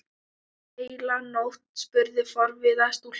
Heila nótt? spurði forviða stúlka.